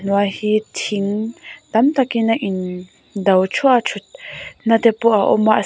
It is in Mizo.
hi thing tam takin a in do thuah a thut na te pawh a awm a.